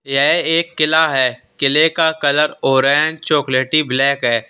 यह एक किला है किले का कलर ऑरेंज चॉकलेटी ब्लैक है।